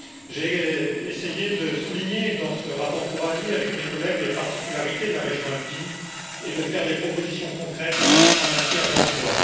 J'ai essayé de souligner dans ce rapport pour avis, avec mes collègues, les particularités de la région alpine et de faire des propositions concrètes en matière d'emploi.